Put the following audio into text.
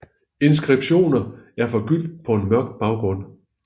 Inskriptioner er forgyldte på en mørk baggrund